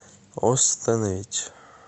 остановить